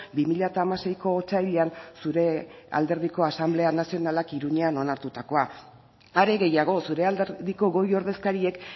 bi mila hamaseiko otsailean zure alderdiko asanblea nazionalak iruñean onartutakoa are gehiago zure alderdiko goi ordezkariek